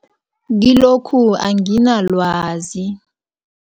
Kilokhu anginalwazi.